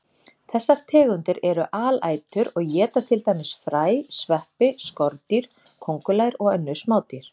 Þessar tegundir eru alætur og éta til dæmis fræ, sveppi, skordýr, kóngulær og önnur smádýr.